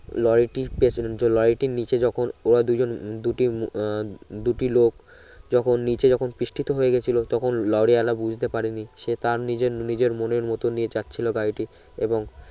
লরিটির পেচেন যো লরিটির নিচে যখন ওরা দুই জন দুটি আহ দুটি লোক যখন নিচে যখন পৃষ্ঠিত হয়ে গেছিলো তখন লরি আলা বুঝতে পারে নি সে তার নিজের নিজের মনের মত নিয়ে চাচ্ছিলো গাড়িটি এবং